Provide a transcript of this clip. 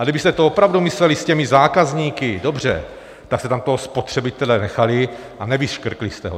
A kdybyste to opravdu mysleli s těmi zákazníky dobře, tak jste tam toho spotřebitele nechali a nevyškrtli jste ho.